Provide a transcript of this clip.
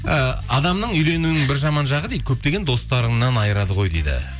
ы адамның үйленуінің бір жаман жағы дейді көптеген достарыңнан айырады ғой дейді